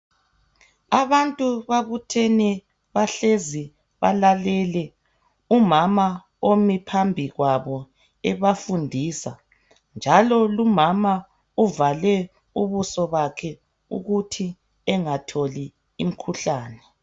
Abantu babuthene bahlezi balalele umama omi phambikwabo ebafundisa njalo lumama uvale ubuso bakhe ukuthi engatholi imkhuhlane.